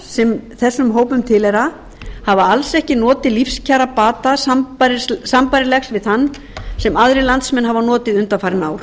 sem þessum hópum tilheyra hefur alls ekki notið lífskjarabata sambærilegs við þann sem aðrir landsmenn hafa notið undanfarin ár